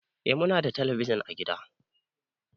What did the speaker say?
Eh Muna da telebijin ã gida.